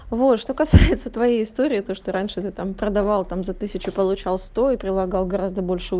вот что касается твоей истории то что раньше ты там продавал там за тысячу получал сто и прилагал гораздо больше у